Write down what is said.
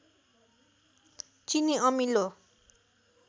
चिनी अमिलो